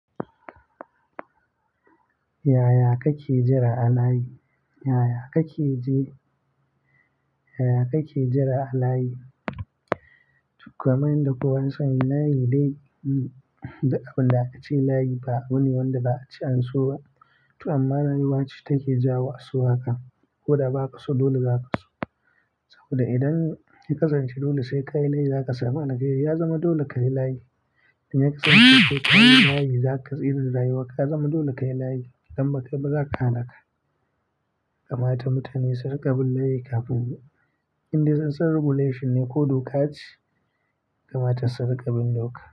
Yaya kake jira a layi? Yaya kake je? Yaya kake jira a layi? Kaman yan da kowa ya sani layi dai da abin da aka ce layi ba wani wanda za a ce anso ba. To amma rayuwa ce take jawo aso haka. Ko da ba ka so dole za ka so. Saboda idan ya kasance dole sai ka yi layi, za ka samu akhairi ya zama dole ka yi layi. Inya ka kasance ko ka yi layi, za ka iya rayuwa. Ka zama dole ka yi layi, idan ba kai ba za ka hana ka. Kamata mutane su riƙa bin layi kafun indai sun san regulation ne ko doka ce, kamata su riƙa bin doka.